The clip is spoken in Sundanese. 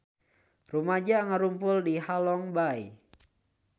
Rumaja ngarumpul di Halong Bay